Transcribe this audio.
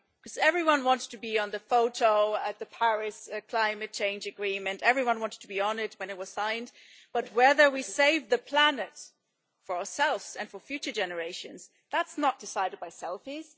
Because everyone wants to be on the photo at the Paris climate change agreement, everyone wanted to be on it when it was signed, but whether we save the planet for ourselves and for future generations, that's not decided by selfies.